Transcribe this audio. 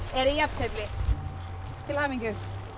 er jafntefli til hamingju